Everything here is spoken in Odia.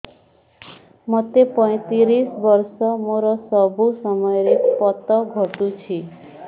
ମୋତେ ପଇଂତିରିଶ ବର୍ଷ ମୋର ସବୁ ସମୟରେ ପତ ଘଟୁଛି